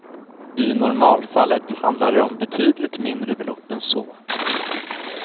I normalfallet handlar det om betydligt mindre belopp än så.